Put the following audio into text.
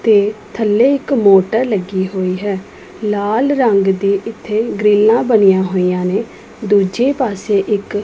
ਤੇ ਥੱਲੇ ਇੱਕ ਮੋਟਰ ਲੱਗੀ ਹੋਈ ਹੈ ਲਾਲ ਰੰਗ ਦੀ ਇੱਥੇ ਗ੍ਰਿੱਲਾਂ ਬਣਿਆਂ ਹੋਇਆਂ ਨੇਂ ਦੂਜੇ ਪਾੱਸੇ ਇੱਕ --